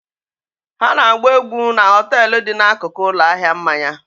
Ha na-agba egwu na họtel dị n'akụkụ ụlọ ahịa mmanya